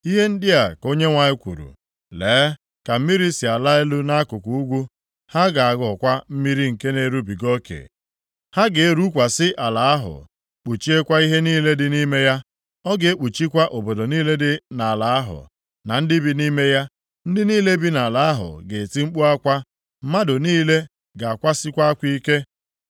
Ihe ndị a ka Onyenwe anyị kwuru, “Lee ka mmiri si ala elu nʼakụkụ ugwu; ha ga-aghọkwa mmiri nke na-erubiga oke. Ha ga-erukwasị ala ahụ, kpuchiekwa ihe niile dị nʼime ya, ọ ga-ekpuchikwa obodo niile dị nʼala ahụ, na ndị bi nʼime ya. Ndị niile bi nʼala ahụ ga-eti mkpu akwa, mmadụ niile ga-akwasikwa akwa ike.